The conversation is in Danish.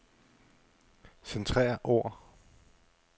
Centrer ord.